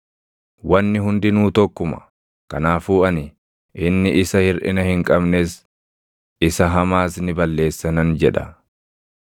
Wanni hundinuu tokkuma; kanaafuu ani, ‘Inni isa hirʼina hin qabnes, isa hamaas ni balleessa’ nan jedha.